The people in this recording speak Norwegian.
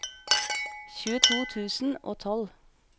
tjueto tusen og tolv